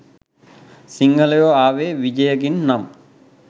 සිංහලයෝ ආවේ විජයගෙන් නම්